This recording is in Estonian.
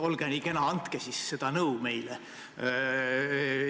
Olge nii kena ja andke meile nõu!